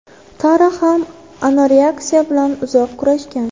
Tara ham anoreksiya bilan uzoq kurashgan.